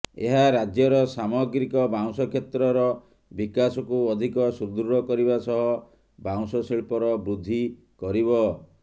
ଏହା ରାଜ୍ୟର ସାମଗ୍ରିକ ବାଉଁଶ କ୍ଷେତ୍ରର ବିକାଶକୁ ଅଧିକ ସୁଦୃଢ଼ କରିବା ସହ ବାଉଁଶ ଶିଳ୍ପର ବୃଦ୍ଧି କରିବ